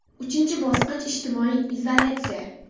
Uchinchi bosqich ijtimoiy izolyatsiya.